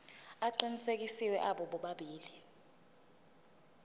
aqinisekisiwe abo bobabili